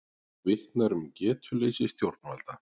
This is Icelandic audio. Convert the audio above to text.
Vitnar um getuleysi stjórnvalda